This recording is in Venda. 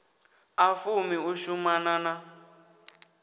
a fumi u shumana na